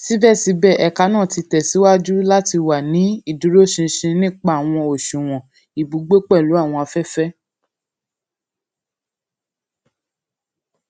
sibẹsibẹ ẹka naa ti tẹsiwaju lati wa ni iduroṣinṣin nipa awọn oṣuwọn ibugbe pelu awọn afẹfẹ